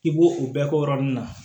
I b'o o bɛɛ k'o yɔrɔ nun na